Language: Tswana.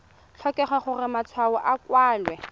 tlhokege gore matshwao a kwalwe